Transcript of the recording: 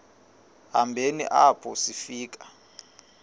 hambeni apho sifika